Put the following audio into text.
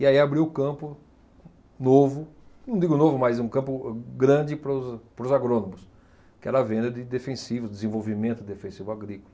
E aí abriu um campo novo, não digo novo, mas um campo grande para os, para os agrônomos, que era a venda de defensivos, desenvolvimento de defensivo agrícola.